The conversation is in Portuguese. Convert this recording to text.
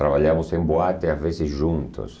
Trabalhávamos em boate, às vezes juntos.